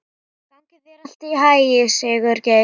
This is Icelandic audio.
Gangi þér allt í haginn, Sigurgeir.